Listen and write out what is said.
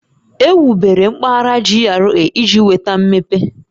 Ewubere mpaghara GRA iji weta mmepe